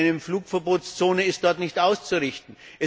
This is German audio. Mit einer Flugverbotszone ist dort nichts auszurichten.